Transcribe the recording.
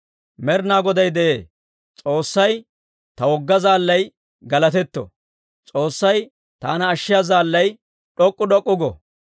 «Med'inaa Goday de'ee! S'oossay, ta wogga zaallay galatetto. S'oossay, taana ashshiyaa zaallay, d'ok'k'u d'ok'k'u go.